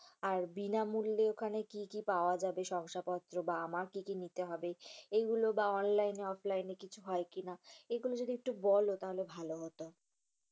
আর বিনামূল্যে ওখানে কি কি পাওয়া যাবে, শংসাপত্র বা আমার কি কি নিতে হবে? এগুলো বা online, offline এ কিছু হয় কিনা এগুলো যদি একটু বলো তাহলে ভালো হতো।